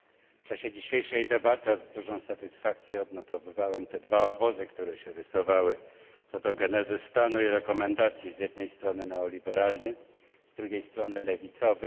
W czasie dzisiejszej debaty z dużą satysfakcją odnotowywałem te dwa obozy, które się rysowały co do genezy stanu i rekomendacji. Z jednej strony neoliberalny, z drugiej strony lewicowy.